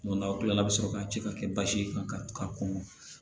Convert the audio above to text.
n'aw kila la a bi sɔrɔ ka ci ka kɛ basi ye kan ka kɔngɔ